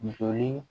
Joli